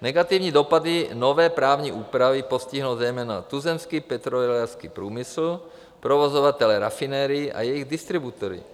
Negativní dopady nové právní úpravy postihnou zejména tuzemský petrolejářský průmysl, provozovatele rafinérií a jejich distributory.